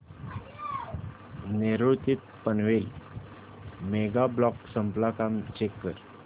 नेरूळ ते Panvel mega block संपला का चेक कर